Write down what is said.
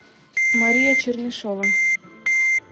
мария чернышева